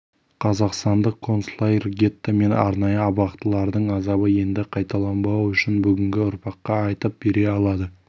қазақстандық концлагерь гетто мен арнайы абақтылардың азабы енді қайталанбауы үшін бүгінгі ұрпаққа айтып бере алады